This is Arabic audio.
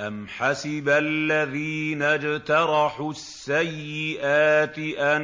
أَمْ حَسِبَ الَّذِينَ اجْتَرَحُوا السَّيِّئَاتِ أَن